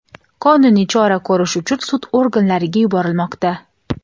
qonuniy chora ko‘rish uchun sud organlariga yuborilmoqda.